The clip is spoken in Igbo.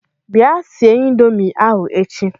Bịa sie Ịndomì ahụ echi!